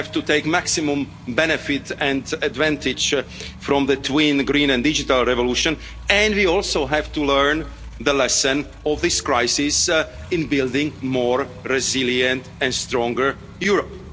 We have to take maximum benefit and advantage from the twin green and digital revolutions, and we also have to learn the lessons of this crisis in building a more resilient and stronger Europe.